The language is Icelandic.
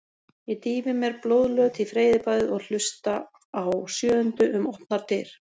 Ég dýfi mér blóðlöt í freyðibaðið og hlusta á sjöundu um opnar dyr.